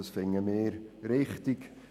Das finden wir richtig.